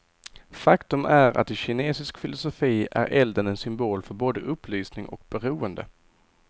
Faktum är att i kinesisk filosofi är elden en symbol för både upplysning och beroende.